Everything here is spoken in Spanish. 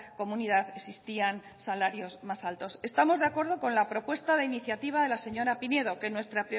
comunidad existían salarios más altos estamos de acuerdo con la propuesta de iniciativa de la señora pinedo que nuestra